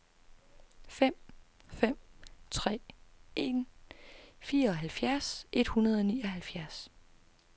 fem fem tre en fireoghalvfjerds et hundrede og nioghalvfjerds